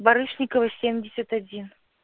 барышникова семьдесят один